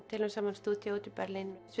deilum saman stúdíói í Berlín